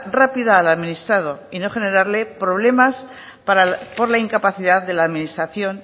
rápida al administrado y no generarle problemas por la incapacidad de la administración